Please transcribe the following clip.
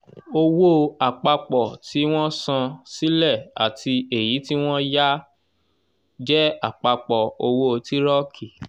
owó àpapọ̀ tí wọ́n san sílẹ̀ àti èyí tí wọ́n yá jẹ́ àpapọ̀ owó tírọ̀kì.